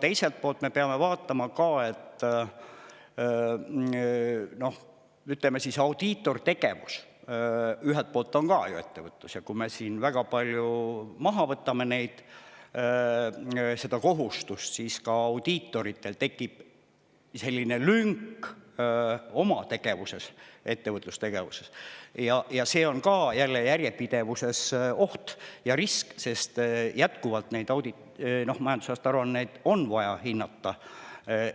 Teiselt poolt on audiitortegevus ju samuti ettevõtlus ja kui me väga palju audiitoritelt kohustusi ära võtame, siis tekib neil lünk oma tegevuses, ettevõtlustegevuses, aga see on jälle järjepidevuse mõttes oht ja risk, sest majandusaasta aruandeid on jätkuvalt vaja hinnata